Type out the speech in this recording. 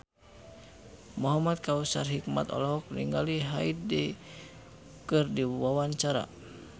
Muhamad Kautsar Hikmat olohok ningali Hyde keur diwawancara